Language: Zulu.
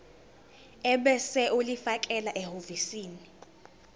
ebese ulifakela ehhovisi